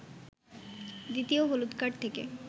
দ্বিতীয় হলুদ কার্ড থেকে